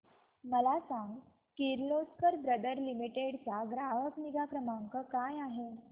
मला सांग Kirloskar brother limited चा ग्राहक निगा क्रमांक काय आहे